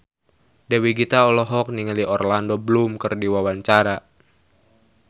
Dewi Gita olohok ningali Orlando Bloom keur diwawancara